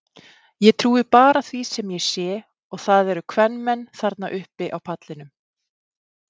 Ég trúi bara því sem ég sé og það eru kvenmenn þarna uppi á pallinum.